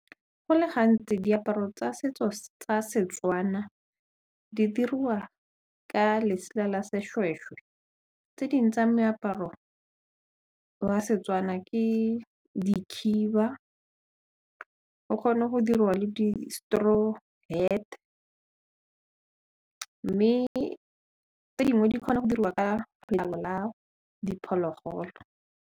Go le gantsi diaparo tsa setso tsa Setswana di dirwa ka letsela la sešwešwe tse ding tsa meaparo wa Setswana ke dikhiba o kgone go diriwa le di straw heat mme tse dingwe di kgona go diriwa ka la diphologolo.